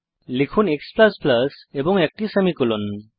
লিখুন x এবং একটি সেমিকোলন